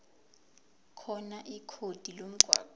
khona ikhodi lomgwaqo